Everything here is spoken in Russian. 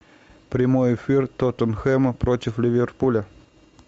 прямой эфир тоттенхэма против ливерпуля